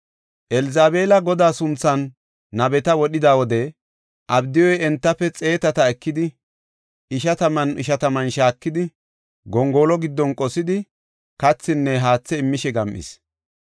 Elzabeela Godaa sunthan nabeta wodhida wode Abdiyuy entafe xeetata ekidi, ishataman ishataman shaakidi, gongolo giddon qosidi, kathinne haathe immishe gam7is.